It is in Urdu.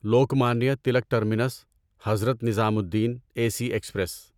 Lokmanya Tilak terminus Hazrat Nizamuddin A C express